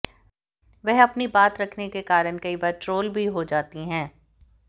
वह अपनी बात रखने के कारण कई बार ट्रोल भी हो जाती हैं